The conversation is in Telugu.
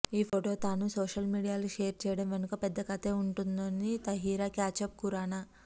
ఈ ఫొటో తాను సోషల్ మీడియాలో షోర్ చేయడం వెనుక పెద్ద కథే వుందంటోంది తహిరా కశ్యప్ ఖురానా